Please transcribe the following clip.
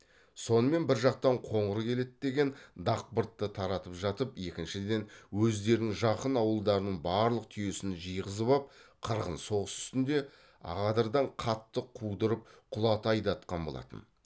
сонымен бір жақтан қоңыр келеді деген дақбыртты таратып жатып екіншіден өздерінің жақын ауылдарының барлық түйесін жиғызып ап қырғын соғыс үстінде ақадырдан қатты қудырып құлата айдатқан болатын